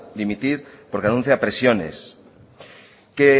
dimitir porque denuncia presiones que